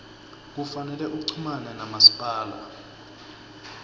kufanele uchumane namasipala